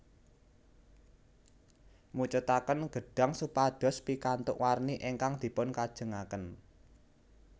Mucetaken gedhang supados pikantuk warni ingkang dipunkajengaken